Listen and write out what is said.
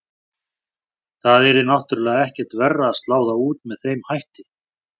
Það yrði náttúrulega ekkert verra að slá þá út með þeim hætti.